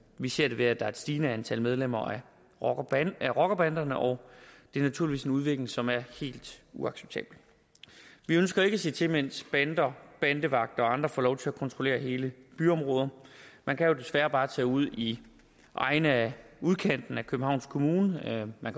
vi ser det ved at der er et stigende antal medlemmer af rockerbanderne og det er naturligvis en udvikling som er helt uacceptabel vi ønsker ikke at se til mens bander bandevagter og andre får lov til at kontrollere hele byområder man kan jo desværre bare tage ud i egne af udkanten af københavns kommune man